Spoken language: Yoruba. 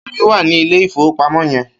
Kemi wà ni ilé ifówópámò yèn